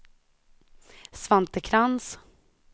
Svante Krantz